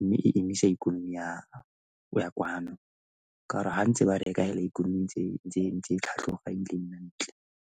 mme e emisa ikonomi ya kwano ka gore gantse ba reka hela ikonomi ntse e tlhatlhoga ebile e nna e ntle.